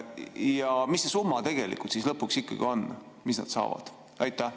Ja mis see summa siis lõpuks ikkagi on, mis nad saavad?